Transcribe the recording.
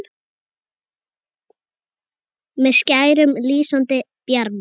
með skærum, lýsandi bjarma